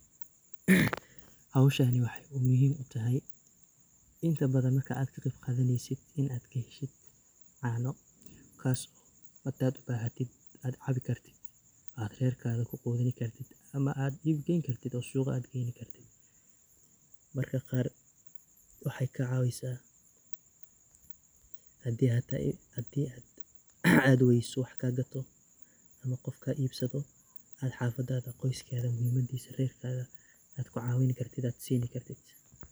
Hawshani waxey muhiim u tahay inta badan marka aad ka qeyb qadaneysid in aad ka heshid caano kaaso hadaad bahatid aad cabi kartid, aad rerkaada ku quudin kartid ama aad iib geyn kartid oo suuqa aad geyni kartid .Marka qaar waxey ka cawisaa haddii aad weyso wax kaa gato ama qof kaa iibsado aad xafadaada qoyskaada muhimadiisa rerkaada aad ku caawini kartid aad sini kartid.